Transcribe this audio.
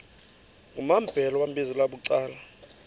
kumambhele wambizela bucala